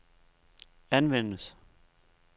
anvendes